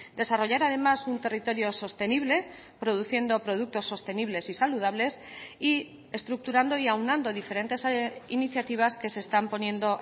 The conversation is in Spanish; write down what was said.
desarrollar además un territorio sostenible produciendo productos sostenibles y saludables y estructurando y aunando diferentes iniciativas que se están poniendo